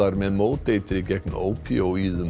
með móteitri gegn ópíóíðum